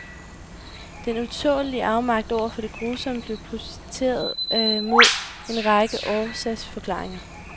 Den utålelige afmagt over for det grusomme blev projiceret mod en række årsagsforklaringer.